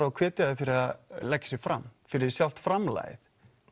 og hvetja þau fyrir að leggja sig fram fyrir sjálft framlagið